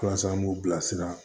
Walasa an b'u bilasira